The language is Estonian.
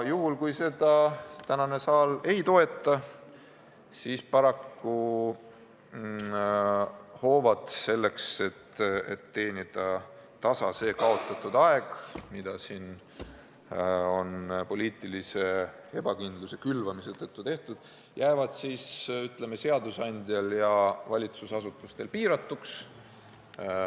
Kui seda eelnõu saal täna ei toeta, siis jäävad seadusandja ja valitsusasutuste käsutuses olevad hoovad selleks, et teha tasa aeg, mis on poliitilise ebakindluse külvamise tõttu kaduma läinud, paraku piiratuks.